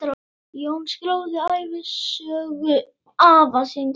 Jón skráði ævisögu afa síns.